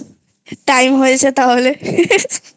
Time হয়েছে তাহলে